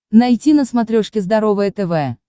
найти на смотрешке здоровое тв